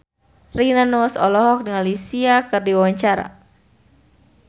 Rina Nose olohok ningali Sia keur diwawancara